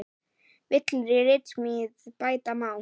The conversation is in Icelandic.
Villur í ritsmíð bæta má.